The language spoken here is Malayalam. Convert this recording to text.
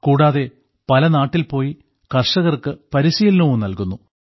കൂടാതെ പല നാട്ടിൽ പോയി കർഷകർക്ക് പരിശീലനവും നൽകുന്നു